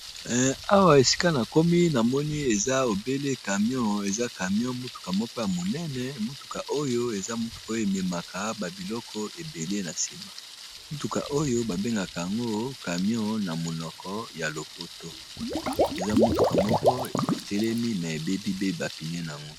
Awa esika na komi na moni eza ebele camion eza camion motuka moko ya monene motuka oyo eza motuka oyo ememaka babiloko ebele na nsima motuka oyo babengaka yango camion na monoko ya lopoto eza motuka moko etelemi ma ebebi pe bapine nango.